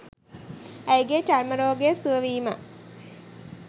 ඇයගේ චර්ම රෝගය සුවවීම